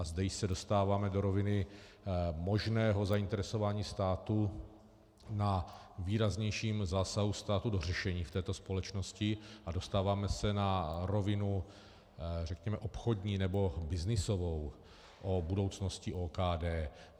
A zde se dostáváme do roviny možného zainteresování státu na výraznějším zásahu státu do řešení v této společnosti a dostáváme se na rovinu, řekněme, obchodní nebo byznysovou o budoucnosti OKD.